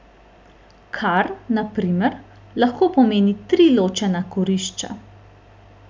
Kar, na primer, lahko pomeni tri ločena kurišča.